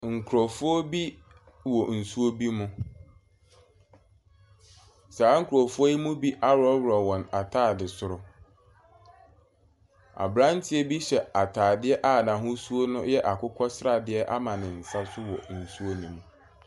Nkurofoɔ bi wɔ nsuo bi mu. Saa nkurɔfoɔ yi mu bi ahorohoro wɔn ntaade soro. Abranteɛ bi hyɛ ataade a n'ahosuo no yɛ akokɔsradeɛ ama ne nsa so wɔ nsuo nim.